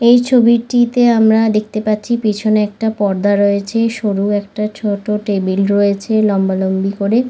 এই ছবিটিতে আমরা দেখতে পাচ্ছি পিছনে একটা পর্দা রয়েছে সরু একটা ছোট টেবিল রয়েছে লম্বা লম্বি করে।